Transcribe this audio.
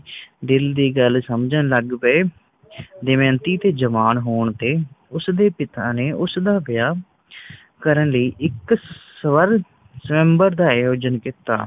ਦਿਲ ਦੀ ਗੱਲ ਸਮਝਣ ਲੱਗ ਪਏ ਦਮਯੰਤੀ ਦੇ ਜਵਾਨ ਹੋਣ ਤੇ ਉਸ ਦੇ ਪਿਤਾ ਨੇ ਉਸਦਾ ਵਿਆਹ ਕਰਨ ਲਈ ਇਕ ਸ੍ਵਰ ਸ੍ਵਯੰਬਰ ਦਾ ਆਯੋਜਨ ਕੀਤਾ